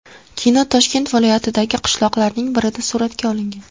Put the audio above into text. Kino Toshkent viloyatidagi qishloqlarning birida suratga olingan.